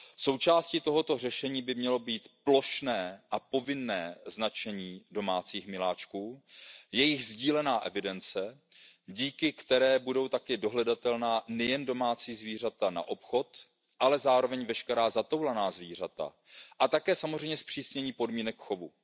Součástí tohoto řešení by mělo být plošné a povinné značení domácích miláčků, jejich sdílená evidence, díky které budou také dohledatelná nejen domácí zvířata na obchod, ale zároveň veškerá zatoulaná zvířata, a také samozřejmě zpřísnění podmínek